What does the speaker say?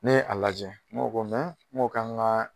I bɛ a lajɛ mɔgɔw ko mɛ n b'o ka n ka